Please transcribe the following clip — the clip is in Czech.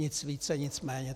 Nic více, nic méně.